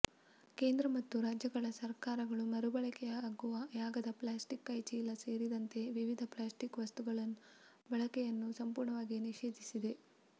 ಕೇಂದ್ರ ಮತ್ತು ರಾಜ್ಯ ಸರ್ಕಾರಗಳು ಮರುಬಳಕೆಯಾಗದ ಪ್ಲಾಸ್ಟಿಕ್ ಕೈಚೀಲ ಸೇರಿದಂತೆ ವಿವಿಧ ಪ್ಲಾಸ್ಟಿಕ್ವಸ್ತುಗಳ ಬಳಕೆಯನ್ನು ಸಂಪೂರ್ಣವಾಗಿ ನಿಷೇಧಿಸಿದೆ